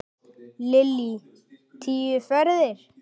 Lillý: Tíu ferðir?